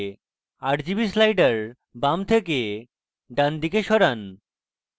rgb sliders বাম থেকে ডান দিকে সরান